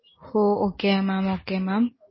O okay mam okay mam